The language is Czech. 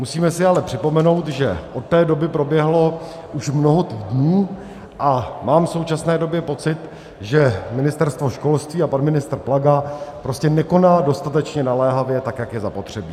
Musíme si ale připomenout, že od té doby proběhlo už mnoho týdnů, a mám v současné době pocit, že Ministerstvo školství a pan ministr Plaga prostě nekonají dostatečně naléhavě tak, jak je zapotřebí.